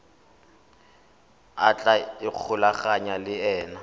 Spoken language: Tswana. a tla ikgolaganyang le ena